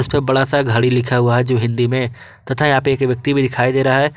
बड़ा सा घड़ी लिखा हुआ है जो हिंदी में तथा यहां पे एक व्यक्ति भी दिखाई दे रहा है।